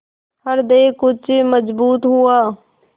हृदय कुछ मजबूत हुआ